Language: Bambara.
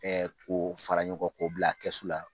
ko fara ɲɔgɔn kan ko bila kɛsu la